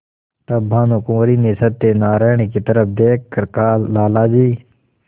तब भानुकुँवरि ने सत्यनारायण की तरफ देख कर कहालाला जी